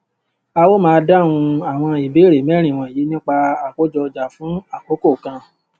a ó máa dáhùn àwọn ìbéèrè mérin wọnyìí nípa àkójọọjà fún àkókò kan